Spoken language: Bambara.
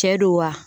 Cɛ don wa